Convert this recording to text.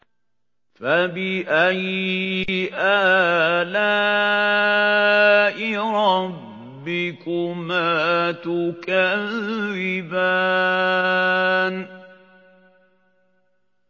فَبِأَيِّ آلَاءِ رَبِّكُمَا تُكَذِّبَانِ